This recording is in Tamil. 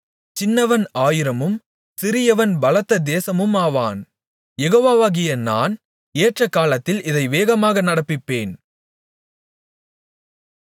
சின்னவன் ஆயிரமும் சிறியவன் பலத்த தேசமுமாவான் யெகோவாவாகிய நான் ஏற்றகாலத்தில் இதை வேகமாக நடப்பிப்பேன்